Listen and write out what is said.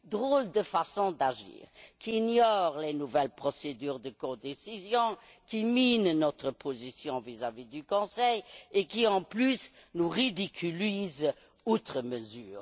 Drôle de façon d'agir, qui ignore les nouvelles procédures de codécision, qui mine notre position vis à vis du Conseil et qui, de plus, nous ridiculise outre mesure.